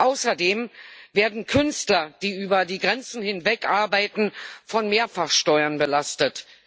Außerdem werden Künstler, die über die Grenzen hinweg arbeiten, mit Mehrfachsteuern belastet.